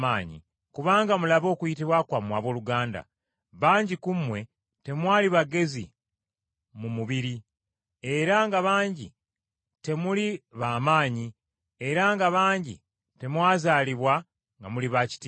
Kubanga mulabe okuyitibwa kwammwe abooluganda, bangi ku mmwe temwali bagezi mu mubiri, era nga bangi temuli b’amaanyi, era nga bangi temwazaalibwa nga muli ba kitiibwa.